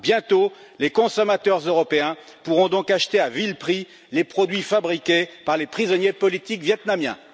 Bientôt les consommateurs européens pourront donc acheter à vil prix les produits fabriqués par les prisonniers politiques vietnamiens.